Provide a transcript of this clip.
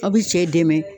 Aw bi cɛ dɛmɛ